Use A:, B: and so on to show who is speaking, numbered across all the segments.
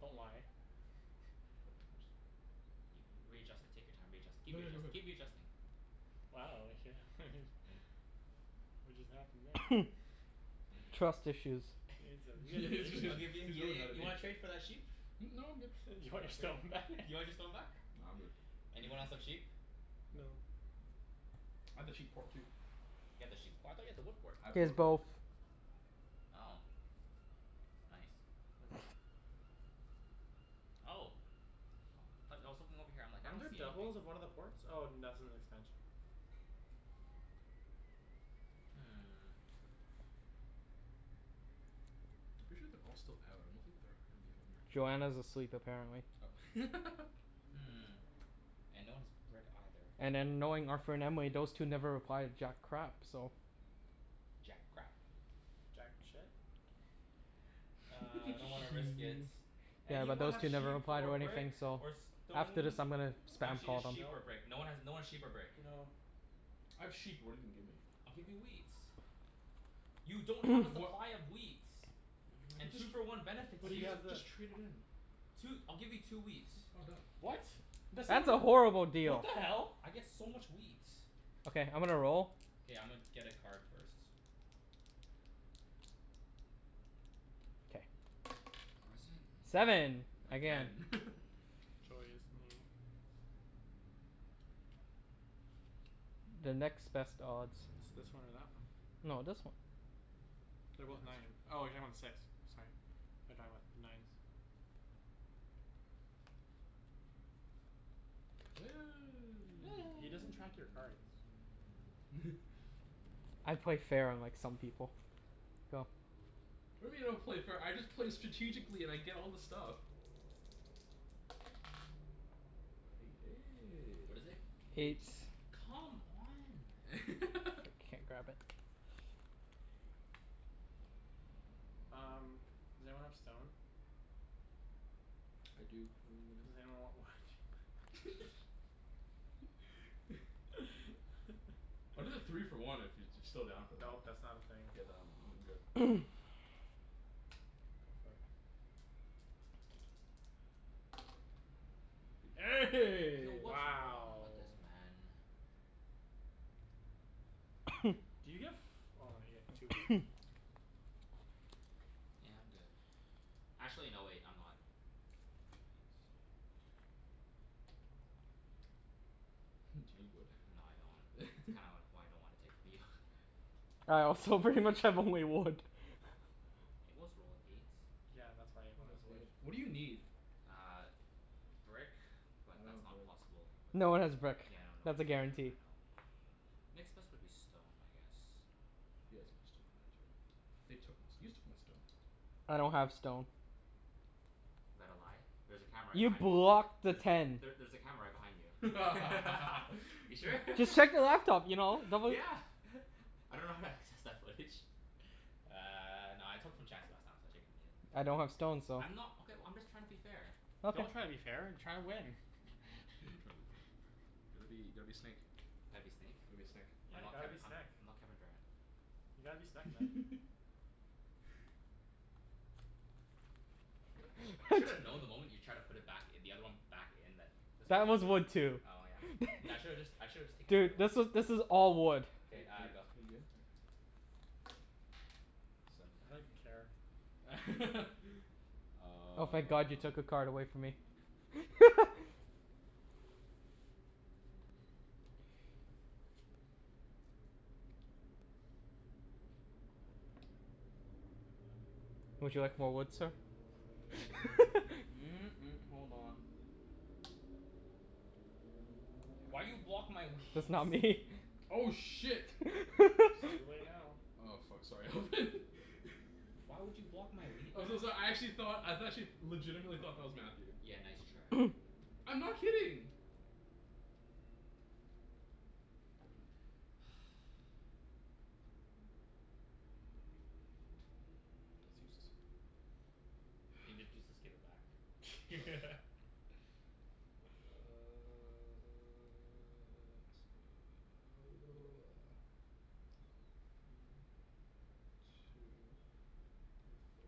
A: Don't lie.
B: No I'm just
C: You can, readjust it, take your time readjust- keep readjust- keep readjusting.
A: Wow What just happened there?
D: Trust issues.
A: You guys have, you guys
B: Yeah
A: have
B: he's
A: issues.
C: I'll
B: really,
C: give in
B: he's
C: yeah
B: really
C: yeah
B: mad at
C: you
B: me.
C: wanna trade for that sheep?
B: Hmm? No, I'm good.
A: You
C: You
A: want
C: wanna
A: your
C: trade?
A: stone back?
C: You wanna get stone back?
B: Nah, I'm good.
C: Anyone else have sheep?
B: No.
A: No.
B: I have the sheep port too.
C: You have the sheep p- I thought you had the wood port?
B: I have
D: He has
B: both
D: both.
B: now.
C: Oh nice. Wait what? Oh. Aw but I was looking over here I'm like "I
A: Aren't
C: don't
A: there
C: see anything."
A: doubles of one of the ports? Oh that's in the expansion.
C: Hmm.
B: I'm pretty sure they're all still out. I don't think they're gonna be home right now.
D: Joanna's asleep apparently.
B: Oh
C: Hmm, and no one has brick either.
D: And then knowing Arthur and Emily, those two never reply to jack crap so.
C: Jack crap.
A: Jack shit?
C: Uh I don't wanna risk it.
D: Yeah, but
C: Anyone
D: those
C: have
D: two never
C: sheep
D: reply
C: or
D: to
C: brick
D: anything so
C: or
D: after this
C: stone?
D: I'm gonna
C: N-
D: spam
C: actually
D: call
C: just
D: them.
C: sheep or
A: Nope.
C: brick. No one has, no one's sheep or brick.
A: No.
B: I have sheep, but what're you gonna give me?
C: I'll give you wheat. You don't have a
B: Wha-
C: supply of wheat.
B: I could
C: And
B: just,
C: two for one benefits
B: I
A: But he
B: could
C: you.
B: jus-
A: has this.
B: just trade it in.
C: Two, I'll give you two wheat.
B: Oh done.
A: What? That's not
D: That's a
A: eno-
D: horrible
A: What
D: deal.
A: the hell?
C: I get so much wheat.
D: Okay, I'm gonna roll.
C: K, I'ma get a card first.
D: K.
C: Fours in.
D: Seven, again.
B: Again
A: Joy is me.
D: The next best odds.
A: It's this one or that one.
D: No, this one.
A: They're
B: The
A: both
B: last
A: nine.
B: turn.
A: Oh you're talking about the six, sorry. Thought you're talking about the nines. He doesn't track your cards.
D: I play fair, unlike some people. Go.
B: What do you mean I don't play fair? I just play strategically and I get all the stuff.
C: What is it?
A: Eight.
D: Eight.
C: Come on, man.
D: Can't grab it.
A: Um, does anyone have stone?
B: I do, what are you gonna give
A: Does
B: me?
A: anyone want wood?
B: I'll do the three for one if you're still down for that.
A: Nope, that's not a thing.
B: K, then I'm good.
A: Go for it.
C: Yo,
B: The
C: what's wrong
A: Wow.
C: with this man?
A: Do you get f- oh you get two wood.
C: Yeah, I'm good. Actually no wait, I'm not. Knight.
B: Do
C: Huh.
B: you need wood?
C: No I don't. Kinda why I don't wanna take from you.
D: All right, so pretty much I have only wood.
C: It was rolled, eight.
A: Yeah, that's
B: Well,
A: why everyone has
B: it's
A: wood.
B: eight. What do you need?
C: Uh brick, but
B: I don't
C: that's
B: have
C: not
B: brick.
C: possible with,
D: No one has brick.
C: yeah I know no
D: That's
C: one
D: a
C: has,
D: guarantee.
C: I know. Next best would be stone, I guess.
B: He has more stone than I do. They took my st- you took my stone.
D: I don't have stone.
C: Is that a lie? There's a camera right
D: You
C: behind you.
D: blocked the
C: There's,
D: ten.
C: there there's a camera right behind you. You sure?
D: Just check the laptop you know? Don't beli-
C: Yeah I dunno how to access that footage. Uh no I took from Chancey last time so I'll take from you.
D: I don't have stone so
C: I'm not, okay well I'm just tryin' to be fair.
A: Don't
D: Okay.
A: try to be fair. Try to win
B: Gotta be, gotta be snake.
C: Gotta be snake?
B: Gotta be a snek.
A: Yeah,
C: I'm not
A: gotta be
C: Kevi- I'm
A: snek.
C: not Kevin Durant.
A: You gotta be snek man.
C: I should have known the moment you tried to put it back i- the other one back in that This
D: That
C: was
D: was
C: a whiff.
D: wood too.
C: Oh yeah? N- I shoulda just I should've just taken another
D: Dude,
C: one.
D: this was this is all wood.
B: Are
C: K,
B: you are
C: uh
B: you
C: go.
B: are you good? Okay. Seven.
A: I don't even care.
D: Oh thank god you took a
B: Um
D: card away from me. Would you like more wood, sir?
B: hold on.
C: Why you block my
D: That's not
C: wheat?
D: me.
B: Oh shit.
A: It's too late now.
B: Oh fuck, sorry Alvin.
C: Why would you block my wheat, man?
B: I'm so so- I actually thought, I actually legitimately thought that was Matthew.
C: Yeah, nice try.
B: I'm not kidding. That's useless.
C: If it's useless give it back.
B: Uh let's go One two three four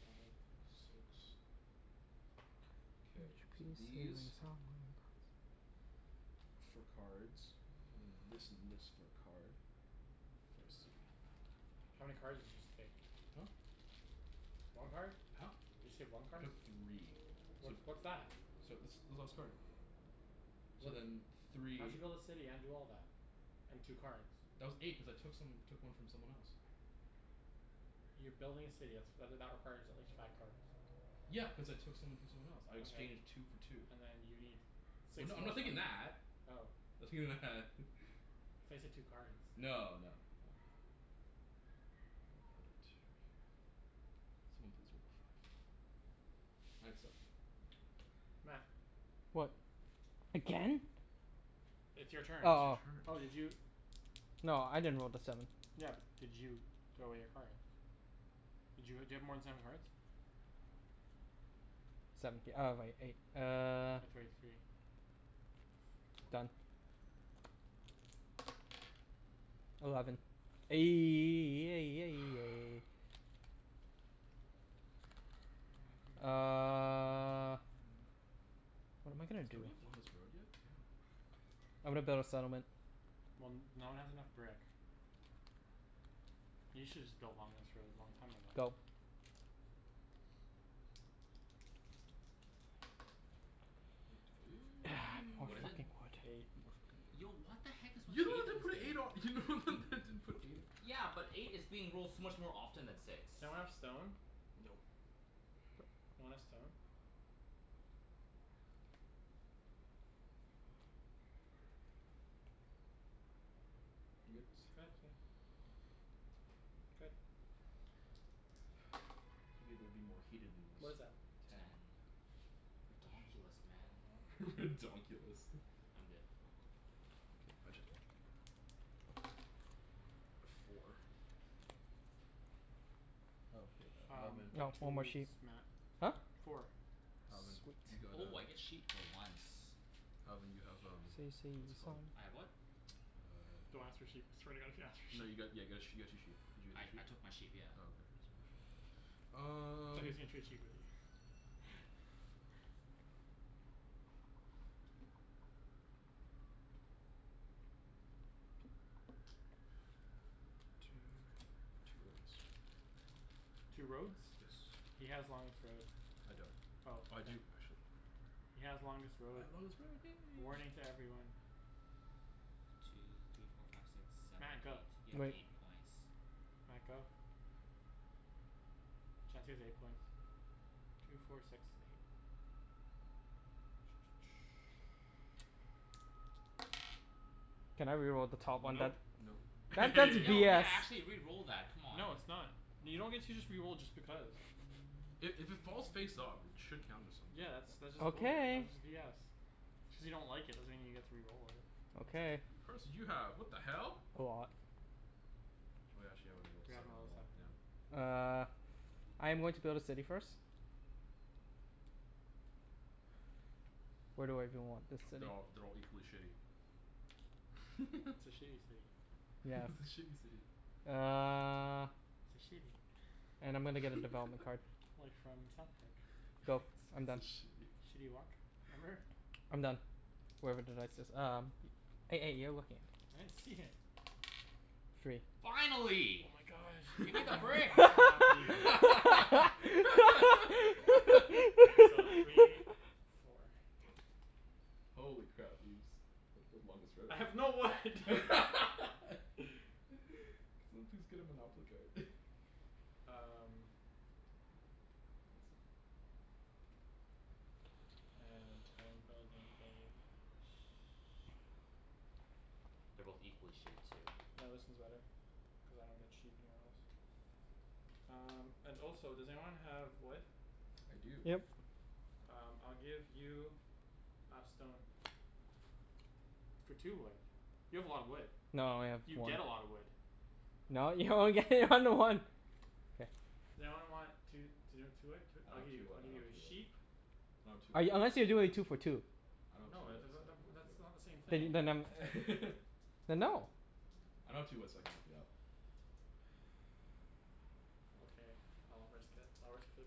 B: Five six, K, these for cards and then this and this for a card. For a city.
A: How many cards did you just take?
B: Huh?
A: One card?
B: Huh?
A: You just take one
B: I
A: card?
B: took three
A: What
B: so
A: what's that?
B: So this this last card. So
A: What
B: then
A: di- , how'd you
B: three
A: build a city and do all that? And two cards?
B: That was eight, cuz I took some, took one from someone else.
A: You're building a city. That's that that requires at least five cards.
B: Yeah, cuz I took some from someone else. I
A: Okay,
B: exchanged two for two.
A: and then you need
B: Well
A: six
B: no, I'm
A: more
B: not thinking
A: cards.
B: that.
A: Oh.
B: I'm thinking that.
A: I thought you said two cards.
B: No no no. I will put it right here. Someone please roll a five. I'd suck. Oh well.
A: Matt.
D: What? Again?
A: It's your turn.
D: Oh
B: It's your
D: oh.
B: turn
A: Oh did you
D: No, I didn't roll the seven.
A: Yeah, but did you throw away your cards? Did you ha- do you have more than seven cards?
D: Seventh th- oh wai- eight. Uh
A: throw away three
B: One.
D: Done. Eleven.
C: Fu-
D: Uh What am I gonna do?
B: Don't we have longest road yet? Damn.
D: I'm gonna build a settlement.
A: Well n- no one has enough brick. You shoulda just built longest road long time ago.
D: Go.
B: Eight
D: More
C: What is it?
D: fucking wood.
A: Eight.
B: Mo- fucking
C: Yo
B: road.
C: what the heck is
B: You're
C: with
B: the one that
C: eight in
B: didn't put
C: this
B: an eight on, you're the only one
C: game?
B: that didn't put an eight on.
C: Yeah, but eight is being rolled so much more often than six.
A: Does anyone have stone?
B: Nope
A: Want a stone?
B: You good?
A: Good.
B: Figured it'd be more heated than
A: What is
B: this.
A: that?
B: Ten.
C: Ten. Ridonkulus man.
B: Ridonkulus.
C: I'm good.
B: K, my turn. Four. Oh hey uh
A: Um
B: Alvin.
A: get
D: No,
A: two
D: one more
A: woods,
D: sheep.
A: Matt.
D: Huh?
C: Four?
A: Four.
B: Alvin,
D: Sweet.
B: you got uh
C: Oh I get sheep for once.
B: Alvin you have um what's it called
C: I have what?
A: Don't ask for
B: uh
A: sheep. I swear to god if you ask for
B: No you
A: sheep.
B: got, yeah got a you got two sheep. Did you get
C: I
B: two sheep?
C: I took my sheep, yeah.
B: Oh okay, just making sure. Um
A: Thought he was gonna trade sheep with you
B: Two for two roads.
A: Two roads?
B: Yes.
A: He has longest road.
B: I don't.
A: Oh
B: Oh I
A: then
B: do, actually.
A: He has longest road.
B: I have longest road, yay!
A: Warning to everyone.
C: Two three four five six seven
A: Matt,
C: eight,
A: go.
C: you have
D: Wait.
C: eight points.
A: Matt, go. Chancey has eight points. Two four six eight.
D: Can I re-roll the top one
A: Nope.
D: then?
B: Nope
D: That that's
C: Yo yeah,
D: BS.
C: actually re-roll that, come on.
A: No it's not. You don't get to just re-roll just because.
B: I- if it falls face up it should count as something.
A: Yeah that's, that's just balder-
D: Okay.
A: that's just BS. Just because you don't like it doesn't mean you get to re-roll it.
D: Okay.
B: How many cards did you have? What the hell?
D: A lot.
B: Oh yeah, actually haven't rolled
A: We haven't
B: seven in
A: rolled
B: a
A: a
B: while,
A: seven,
B: yeah.
A: no.
D: Uh I am going to build a city first. Where do I even want this city?
B: They're all, they're all equally shitty.
A: It's a shitty city.
B: It's a
D: Yes.
B: shitty city.
D: Uh
A: It's a shitty
D: And I'm gonna get a development card.
A: Like from South Park.
D: Go, I'm
B: It's a
D: done.
B: shitty.
A: Shitty Wok? Remember?
D: I'm done, wherever the dice is. Um. You're looking.
A: I didn't see it.
D: Three.
C: Finally.
A: Oh my god.
C: Gimme
A: I
C: the
A: know.
C: brick.
A: I'm so happy. Wait, so three, four.
B: Holy crap, Ibs. Way to build longest road.
A: I
B: Can
A: have no wood.
B: someone please get a monopoly card?
A: Um
B: Okay, clean this up.
A: And I am building a sh-
C: They're both equally shitty too.
A: No, this one's better, cuz I don't get sheep anywhere else. Um and also does anyone have wood?
B: I do.
D: Yep.
A: Um I'll give you a stone. For two wood. You have a lot of wood.
D: No, I have
A: You
D: four.
A: get a lotta wood.
D: No, you only get one to one. K.
A: Does anyone want two
B: I
A: I'll
B: don't
A: give
B: have
A: you,
B: two
A: I'll
B: wood, I
A: give you
B: don't have
A: a
B: two wood.
A: sheep.
B: No two
D: I,
B: wood.
D: unless you're doing two for two.
B: I don't have two
A: No, uh
B: wood
A: the the
B: so I
A: the
B: can't
A: w-
B: help
A: that's
B: you
A: not
B: out.
A: the same
D: Then
A: thing.
D: y- then um Then no.
B: I don't have two wood so I can't help you out.
A: Okay, I'll risk it. I'll risk it for the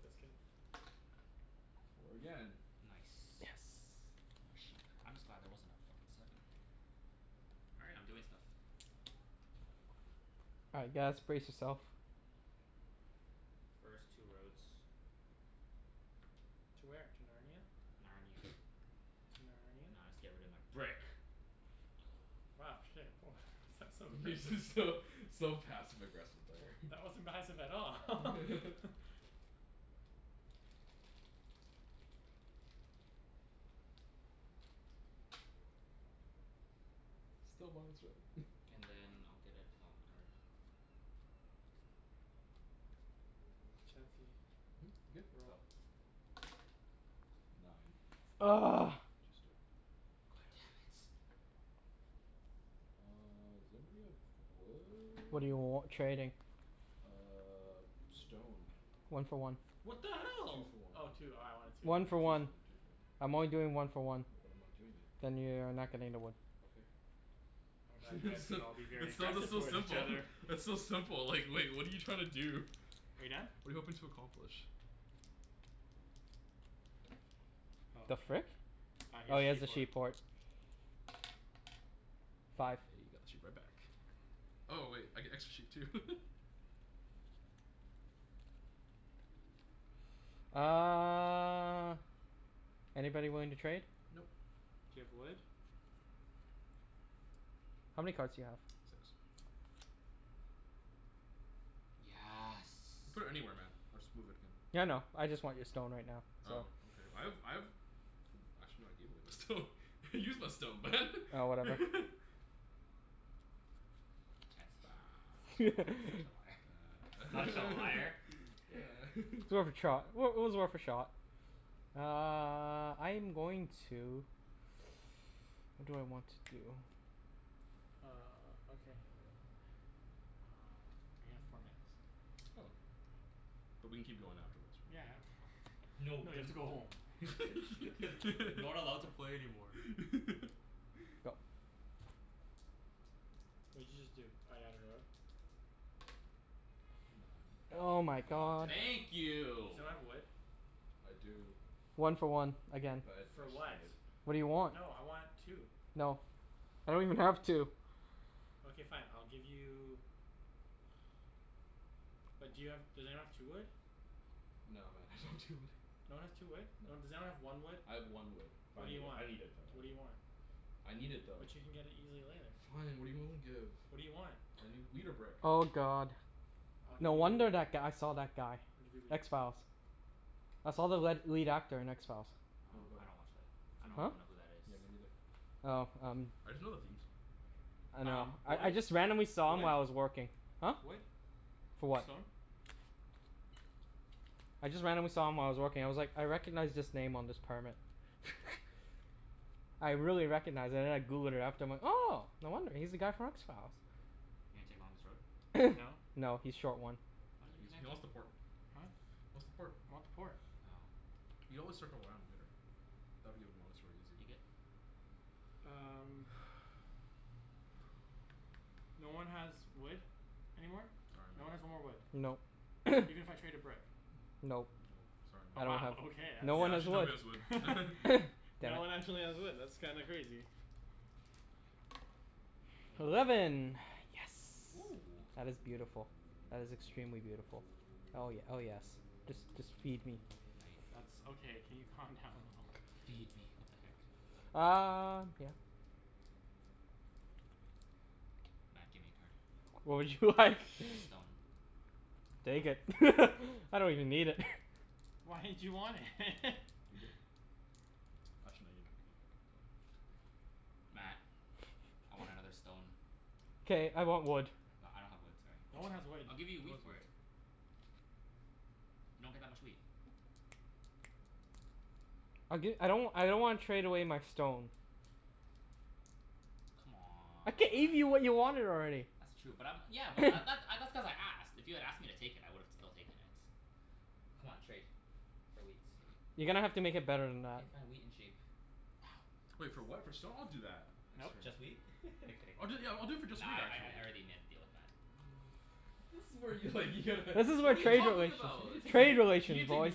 A: biscuit.
B: Four again.
D: Yes.
C: Nice.
D: More sheep.
C: I'm just glad that wasn't a fuckin' seven. All right, I'm doing stuff.
D: All right guys, brace yourself.
C: First two roads.
A: To where? To Narnia?
C: Narnia.
A: To Narnia?
C: Now I'll just get rid of my brick.
A: Wow shit, woah that's so
B: Yeah
A: aggressive.
B: just so so passive aggressive there.
A: That wasn't passive at all.
B: Still longest road
C: And then I'll get a development card.
A: Chancey,
B: Mhm? Good?
C: Go.
A: roll.
B: Nine.
C: God damn it.
B: Uh does anybody have
D: What do you w-
B: wood?
D: trading?
B: Uh stone.
D: One for one.
A: What the
B: Two
A: hell?
B: for one.
A: Oh two, oh I wanted two, my
D: One for
A: bad.
B: Two for one,
D: one.
B: two for one.
D: I'm only doing one for one.
B: Then I'm not doing it.
D: Then you are not getting the wood.
B: Okay.
A: I'm glad you guys
B: It's
A: can
B: still,
A: all be very
B: it's so
A: aggressive
B: though
A: towards each
B: simple.
A: other.
B: It's so simple like like what're you trying to do?
A: Are you done?
B: What're you hoping to accomplish?
A: Oh
D: The
A: okay.
D: frick?
A: Uh he
D: Oh
A: has
D: he has a sheep
A: sheep port.
D: port.
B: Oh
D: Five.
B: got the sheep right back. Oh wait, I get extra sheep too.
D: Uh anybody willing to trade?
B: Nope.
A: Do you have wood?
D: How many cards do you have?
B: Six.
C: Yes.
B: Put it anywhere man, I'll just move it again.
D: Yeah, I know, I just want your stone right now, so
B: Oh okay, I have I have Oh actually I gave away my stone, I used my stone
D: Oh whatever.
C: Chancey Such a li- such a liar. Such a liar.
D: It's worth a trot. Well it was worth a shot. Uh I'm going to what do I want to do?
A: Uh okay. Uh we have four minutes.
B: Oh. But we can keep going afterwards right?
A: Yeah no
C: No,
A: you have to go home.
C: Not allowed to play anymore.
D: Go.
A: What did you just do? Oh you haven't rolled?
D: Oh
B: Nine.
D: my
B: God damn
D: god.
B: it.
C: Thank
A: Does
C: you.
A: anyone have wood?
B: I do.
D: One for one, again.
B: But I
A: For
B: actually
A: what?
B: need it.
D: What do you want?
A: No, I want two.
D: No, I don't even have two.
A: Okay fine, I'll give you But do you have, does anyone have two wood?
B: No man, I don't have two wood.
A: No one has two wood? No
B: No.
A: one, does anyone have one wood?
B: I have one wood. But
A: What
B: I
A: do you
B: need it,
A: want?
B: I need it though.
A: What do you want?
B: I need it though.
A: But you can get it easily later.
B: Fine, what're you willing to give?
A: What do you want?
B: I need wheat or brick.
D: Oh god.
A: I'll give
D: No wonder
A: you
D: that guy saw that guy.
A: I'll give you wheat.
D: X Files. I saw the
C: What?
D: led lead actor in X Files.
B: What
C: Oh
B: about
C: I
B: him?
C: don't watch that. I
B: Me
C: don't
D: Huh?
B: neither.
C: even know who that is.
B: Yeah, me neither.
D: Oh um
B: I just know the theme song.
D: I know.
A: Um
D: I I
A: wood?
D: just randomly saw him while I was working. Huh?
A: Wood? Wood?
D: For what?
A: Stone?
D: I just randomly saw him while I was working. I was like "I recognize this name on this permit." I really recognized and then I Googled it after and I'm like "Oh no wonder. He's the guy from X Files."
C: You gonna take longest road?
A: No?
D: No, he's short one.
C: Wha- why
B: No,
C: you
B: he's
C: connect
B: he
C: us
B: wants the port. He
A: Huh?
B: wants the port.
A: I want the port.
C: Oh.
B: You always circle around later. That'd give him longest road easy.
C: You good?
A: Um No one has wood anymore?
C: No.
B: Sorry
A: No
B: man.
A: one has no more wood?
D: Nope.
A: Even if I traded brick?
D: Nope.
B: Nope, sorry
A: Oh
D: I
B: man.
D: don't
A: wow,
D: have,
A: okay, that's
D: no one
B: Yeah,
D: has
B: actually
D: wood.
B: nobody has wood
D: Damn
A: No one
D: it.
A: actually has wood, that's kinda crazy.
B: Eleven.
D: Eleven. Yes.
C: Oh.
D: That is beautiful. That is extremely beautiful. Oh ye- oh yes. Just just feed me.
A: That's okay, can you calm down a little?
C: "Feed me." What the heck?
D: Um yeah.
C: Matt, gimme a card.
D: What would you like?
C: Get a stone.
D: Take it I don't even need it.
A: Why did you want it?
B: You good? Actually no, you're not good. Don't worry.
C: Matt, I want another stone.
D: K, I want wood.
C: No I don't have wood, sorry.
A: No one has wood.
C: I'll give you a
B: No
C: wheat
B: one has
C: for
B: wood.
C: it. You don't get that much wheat.
D: I'll gi- I don't w- I don't wanna trade away my stone. I gave you what you
C: C'mon.
D: wanted already.
C: That's true but I'm, yeah but that th- uh that's cuz I asked. If you had asked me to take it I would've still taken it. C'mon trade, for wheat.
D: You're gonna have to make it better than that.
C: K fine, wheat and sheep.
B: Wait for what, for stone? I'll do that.
A: Nope.
B: Next turn.
C: Just wheat? I'm kidding.
B: I'll do it yeah, I'll do it for just
C: Nah
B: wheat,
C: I I
B: actually.
C: I already made a deal with Matt.
B: This is where you like you'd
D: This is
C: What
D: what
C: are you
D: trade
C: talking
D: relations,
C: about?
B: You gonna
D: trade
B: take you
D: relations
B: gonna take
D: boys,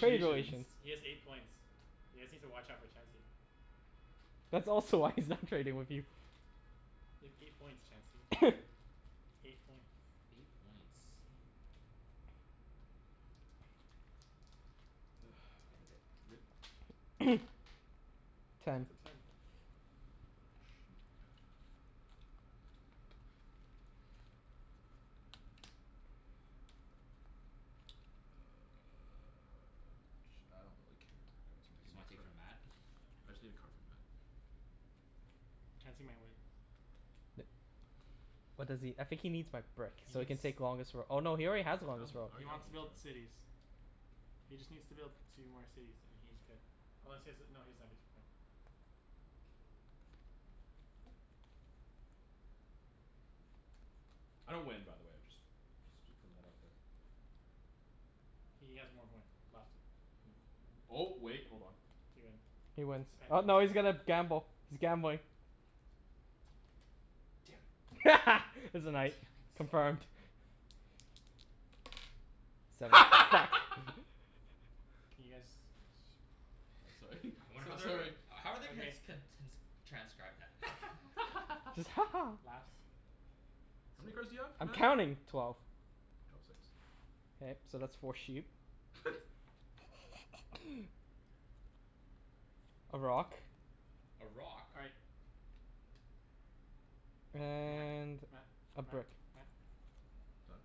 D: trade relations.
A: He has eight points. You guys need to watch out for Chancey.
D: That's also why he's not trading with you.
A: You have eight points Chancey. Eight points.
C: Eight points.
B: K,
C: K, I'm good.
B: good?
D: Ten.
A: It's
B: Ten.
A: a ten.
B: A sheep. And then Uh ch- I don't really care where it goes. Matt
C: Just
B: give me a
C: wanna take
B: card.
C: from Matt?
B: I just need a card from Matt.
A: Chancey might win.
D: What does he, I think he needs my brick
A: He
D: so he
A: needs
D: can take longest roa- oh no, he already has
B: I have long,
D: longest road.
B: I
A: He
B: already have
A: wants to build
B: longest road.
A: cities. He just needs to build two more cities and he's good. Unless he has a, no he doesn't have a two point.
B: I don't win by the way, I just just putting that out there.
A: He has one more point left.
B: Um oh wait, hold on.
A: He wins.
D: He wins. Oh no he's gonna gamble. He's gambling.
B: Damn it.
D: It's a
C: Damn
D: night.
C: it.
D: Confirmed. Seven.
A: Can you guys
B: Oh sorry
C: I wonder how
B: so-
C: they're
B: sorry
C: gon- how are they gonna
A: Okay.
C: ts- con- t- n- s- transcribe that?
D: Just "Ha ha"
A: "Laughs."
B: How many cards do you have
D: I'm
B: Matt?
D: counting. Twelve.
B: Drop six.
D: K, so that's four sheep. A rock.
C: A rock?
A: All right. Matt,
D: And
A: Matt,
D: a
A: Matt,
D: brick.
A: Matt
B: Done?